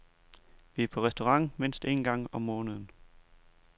Vi er på restaurant mindst en gang om måneden.